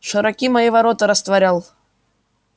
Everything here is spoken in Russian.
широки мои ворота растворял